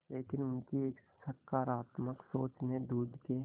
लेकिन उनकी एक सकरात्मक सोच ने दूध के